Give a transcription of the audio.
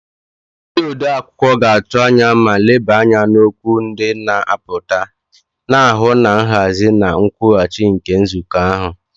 Ndị odeakwụkwọ ga-atụ anya ma leba anya n'okwu ndị na-apụta, na-ahụ na nhazi na nkwụghachi nke nzukọ ahụ.